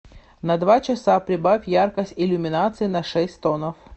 на два часа прибавь яркость иллюминации на шесть тонов